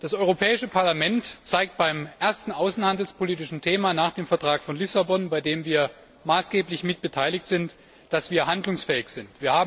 Das Europäische Parlament zeigt beim ersten außenhandelspolitischen Thema nach dem Vertrag von Lissabon, bei dem wir maßgeblich mitbeteiligt sind, dass wir handlungsfähig sind.